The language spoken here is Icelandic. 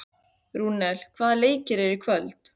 Rúnel, hvaða leikir eru í kvöld?